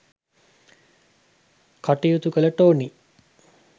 කටයුතු කළ ටෝනි